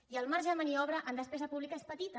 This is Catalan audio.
i el marge de maniobra en despesa pública és petit